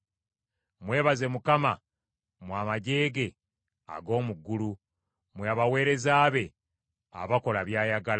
Mwebaze Mukama mmwe amaggye ge ag’omu ggulu, mmwe abaweereza be abakola by’ayagala.